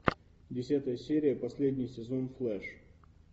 десятая серия последний сезон флэш